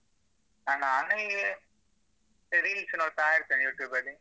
ನಾನಾ ನಂಗೆ ಇಡೀ ದಿವ್ಸ ನೋಡ್ತಾ ಇರ್ತೀನಿ YouTube ಅಲ್ಲಿ.